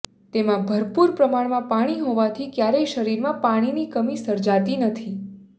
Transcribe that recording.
તેમાં ભરપુર પ્રમાણમાં પાણી હોવાથી ક્યારેય શરીરમાં પાણીની કમી સર્જાતી નથી